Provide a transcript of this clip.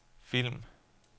film